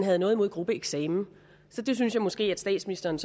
havde noget imod gruppeeksamen så det synes jeg måske at statsministeren